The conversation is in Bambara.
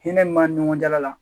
Hinɛ min b'a ni ɲɔgɔn cɛ la la